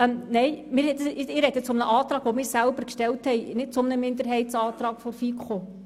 Ich spreche aber zu einem Antrag, den wir selber gestellt haben, nicht zu einem Minderheitsantrag der FiKo.